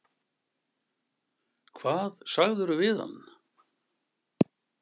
Hvað sagðirðu við hann?